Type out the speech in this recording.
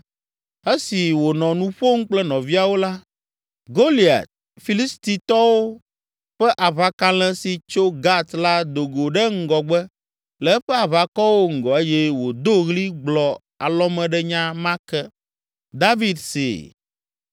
Esi wònɔ nu ƒom kple nɔviawo la, Goliat, Filistitɔwo ƒe aʋakalẽ si tso Gat la do go ɖe ŋgɔgbe le eƒe aʋakɔwo ŋgɔ eye wòdo ɣli gblɔ alɔmeɖenya ma ke. David see.